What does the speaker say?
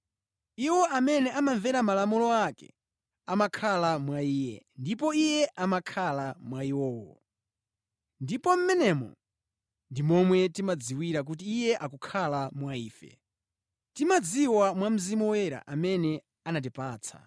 Iwo amene amamvera malamulo ake amakhala mwa Iye, ndipo Iye amakhala mwa iwo. Ndipo mmenemu ndi momwe timadziwira kuti Iye akukhala mwa ife. Timadziwa mwa Mzimu Woyera amene anatipatsa.